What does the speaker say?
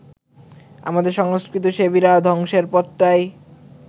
আমাদের সংস্কৃতিসেবীরা ধ্বংসের পথটাই